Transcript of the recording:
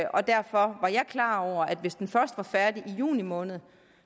og derfor er jeg klar over at hvis den først er færdig i juni måned